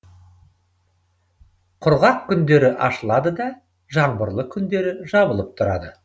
құрғақ күндері ашылады да жаңбырлы күндері жабылып тұрады